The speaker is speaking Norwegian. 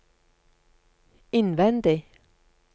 innvendig